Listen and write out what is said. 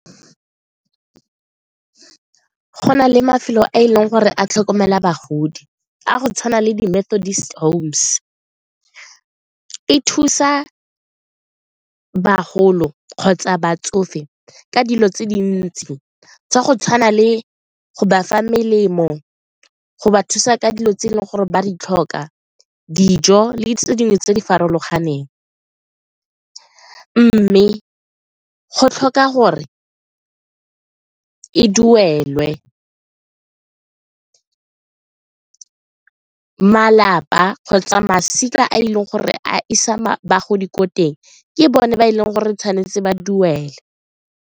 Go na le mafelo a e leng gore a tlhokomela bagodi a go tshwana le di . E thusa bagolo kgotsa batsofe ka dilo tse dintsi tsa go tshwana le go ba fa melemo go ba thusa ka dilo tse e leng gore ba re tlhoka dijo le tse dingwe tse di farologaneng mme go tlhoka gore e duelwe, malapa kgotsa masika a e leng gore a isa bagodi ko teng ke bone ba e leng gore tshwanetse ba duele.